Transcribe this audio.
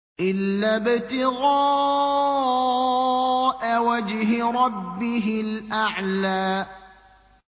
إِلَّا ابْتِغَاءَ وَجْهِ رَبِّهِ الْأَعْلَىٰ